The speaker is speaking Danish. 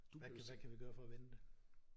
Hvad kan vi gøre for at vende det?